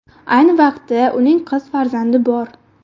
Ayni vaqtda uning qiz farzandi bor.